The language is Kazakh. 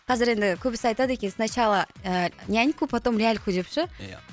қазір енді көбісі айтады екен сначала ііі няньку потом ляльку деп ше ия